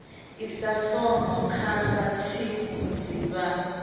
isa fomo kha vhatsivhudzi vha